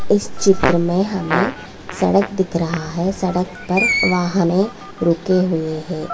इस चित्र में हमें सड़क दिख रहा है। सड़क पर वाहनें रुके हुए है।